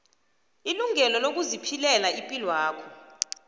ilungelo lokuziphilela ipilwakho